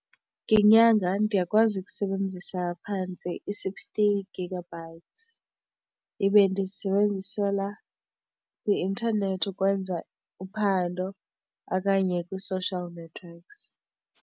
Ngenyanga ndiyakwazi ukusebenzisa phantse i-sixty gigabytes ibe ndiyisebenzisela kwi-intanethi ukwenza uphando okanye kwi-social networks.